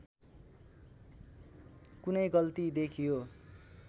कुनै गल्ती देखियो